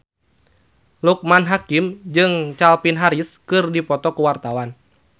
Loekman Hakim jeung Calvin Harris keur dipoto ku wartawan